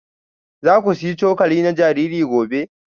Za ku sayi cokali na jariri gobe?